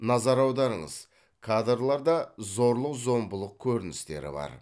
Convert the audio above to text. назар аударыңыз кадрларда зорлық зомбылық көріністері бар